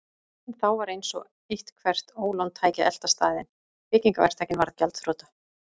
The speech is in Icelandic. En þá var eins og eitthvert ólán tæki að elta staðinn: Byggingaverktakinn varð gjaldþrota.